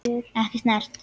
Ekki snert.